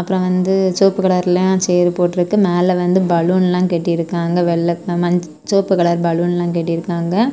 அப்புரொ வந்து செவப்பு கலர்லய சேரு போட்டுருக்கு மேல வந்து பலுன்ல கட்டிருக்காங்க வெல் மஞ் செவப்பு கலர் பலுன்ல கட்டிருக்காங்க.